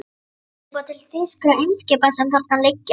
Skilaboð til þýskra eimskipa, sem þarna liggja.